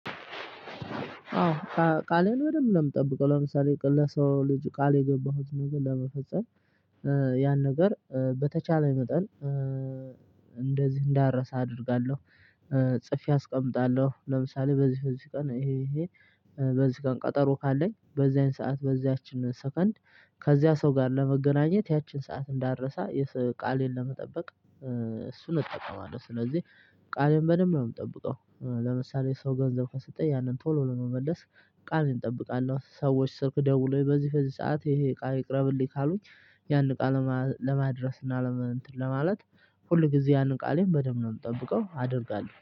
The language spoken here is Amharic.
አዎ ቃሌን በደምብ ነው የምጠብቀው ለምሳሌ ቅልል ለሰው ልጅ ቃል የገባሁት ነገር ለመፈጸም ያን ነገር በተቻለኝ መጠን እንደዚህ እንዳረሳ አደርጋለሁ። ጽፌ አስቀምጣለሁ ለምሳሌ በዚህ በዚህ ቀን ይሄ ይሄ በዚህ ቀን ቀጠሮ ካለኝ በዚያን ሰዓት በዚያችን ሰከንድ ከዚያ ሰው ጋር ለመገናኘት ያችን ሰዓት እንዳረሳ ቃሌን ለመጠበቅ እሱን እጠቀማለሁ። ስለዚህ ቃሌን በደንብ ነው የምጠብቀው ለምሳሌ ሰው ገንዘብ ከሰጠኝ ያንን ቶሎ ለመለስ። ቃሌን እንጠብቃለን ሰዎች ስልክ ደውለው በዚህ በዚህ ሰዓት ይሄ እቃ ይቅረብልኝ ካሉኝ። ያንን እቃ ለማድረስ እና ለመንእንትን ለማለት ሁል ጊዜ ያንን ቃሌን በደንብ ነው የምጠብቀው አደርጋለሁ